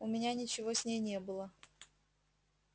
у меня ничего с ней не было